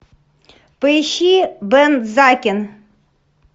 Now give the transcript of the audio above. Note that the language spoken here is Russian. поищи бензакен